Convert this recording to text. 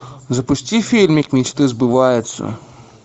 запусти фильмик мечты сбываются